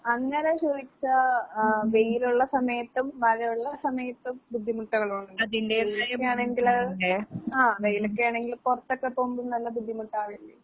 അങ്ങനെ ചോയ്ച്ചാ ആഹ് വെയിലൊള്ള സമയത്തും മഴയൊള്ള സമയത്തും ബുദ്ധിമുട്ടുകളൊണ്ട്. വെയിലൊക്കെയാണെങ്കില് ആഹ് വെയിലൊക്കെയാണെങ്കിൽ പൊറത്തൊക്കെ പോവുമ്പം നല്ല ബുദ്ധിമുട്ടാവില്ലേ?